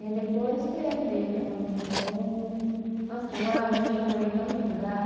E aí depois teve, ela mudou. Nossa, já mora, a gente já morou em tanto lugar.